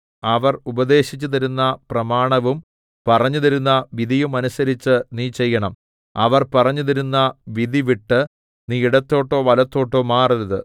അവർ ഉപദേശിച്ചുതരുന്ന പ്രമാണവും പറഞ്ഞുതരുന്ന വിധിയും അനുസരിച്ച് നീ ചെയ്യേണം അവർ പറഞ്ഞുതരുന്ന വിധി വിട്ട് നീ ഇടത്തോട്ടോ വലത്തോട്ടോ മാറരുത്